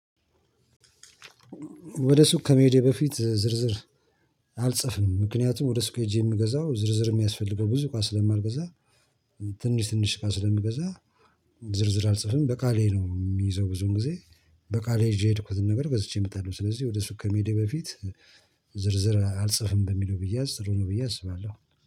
ወደ ሱቅ ከመሄዴ በፊት ዝርዝር አልጽፍም ምክንያቱም ወደ ሱቅ ሄጄ የምገዛው ዝርዝር የሚያስፈልገው ብዙ እቃ ስለማልገዛ ትንሽ ትንሽ እቃ ስለምገዛ። ዝርዝር አልጽፍም በቃሌ ነው የምይዘው ብዙን ጊዜ በቃሌ ይዤ የሄድኩትን ነገር ገዝቼ እመጣለሁ። ስለዚህ ወደ ሱቅ ከመሄዴ በፊት ዝርዝር አልጽፍም በሚለው ቢያዝ ጥሩ ነው ብዬ አስባለሁ